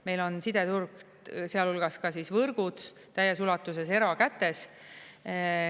Meil on sideturg, sealhulgas ka võrgud, täies ulatuses erakätes.